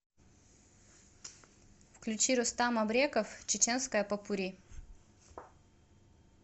включи рустам абреков чеченская попурри